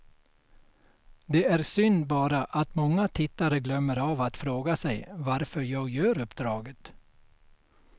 Det är synd bara att många tittare glömmer av att fråga sig varför jag gör uppdraget.